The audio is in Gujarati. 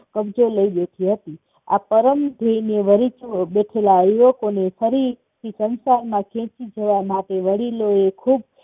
લઇ રહી હતી. આ પરમ થઇ બેઠેલા યુવકોને ફરીથી સંસારમાં ખેચી જવા માટે વડીલોએ ખુબ